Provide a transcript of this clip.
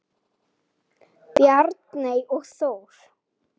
Bjarney og Þór.